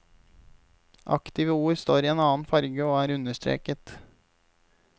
Aktive ord står i en annen farge og er understreket.